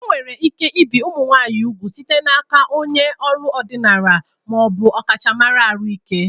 Enwere ike ibi úgwù ụmụ nwanyị site n'aka onye ọrụ ọdịnala ma ọ bụ ọkachamara ahụike